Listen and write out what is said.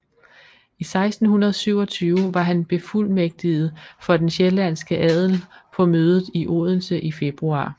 I 1627 var han befuldmægtiget for den sjællandske adel på mødet i Odense i februar